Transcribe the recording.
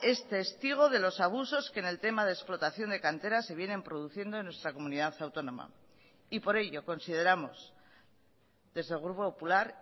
es testigo de los abusos que en el tema de explotación de canteras se vienen produciendo en nuestra comunidad autónoma y por ello consideramos desde el grupo popular